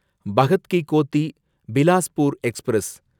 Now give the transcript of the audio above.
Bhagat ki Kothi Bilaspur express